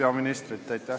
Aitäh!